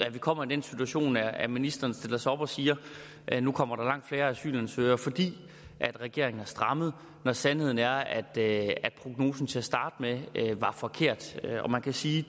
at vi kommer i den situation at ministeren stiller sig op og siger at nu kommer der langt færre asylansøgere fordi regeringen har strammet når sandheden er at prognosen til at starte med var forkert og man kan sige